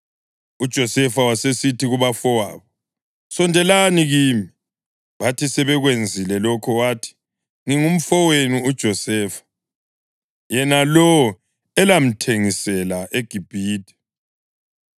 UJosefa wasesithi kubafowabo, “Sondelani kimi.” Bathi sebekwenzile lokho wathi, “Ngingumfowenu uJosefa, yena lowo elamthengisela eGibhithe!